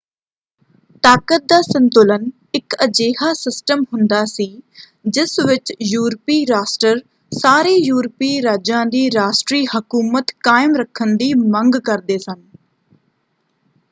ਤਾਕਤ ਦਾ ਸੰਤੁਲਨ ਇੱਕ ਅਜਿਹਾ ਸਿਸਟਮ ਹੁੰਦਾ ਸੀ ਜਿਸ ਵਿੱਚ ਯੂਰਪੀ ਰਾਸ਼ਟਰ ਸਾਰੇ ਯੂਰਪੀ ਰਾਜਾਂ ਦੀ ਰਾਸ਼ਟਰੀ ਹਕੂਮਤ ਕਾਇਮ ਰੱਖਣ ਦੀ ਮੰਗ ਕਰਦੇ ਸਨ।